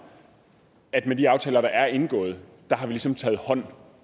at med de aftaler der er indgået har vi ligesom taget hånd